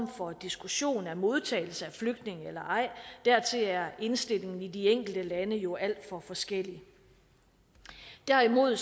for diskussion af modtagelse af flygtninge eller ej dertil er indstillingen i de enkelte lande jo alt for forskellig derimod